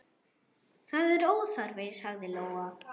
Það er óþarfi, sagði Lóa.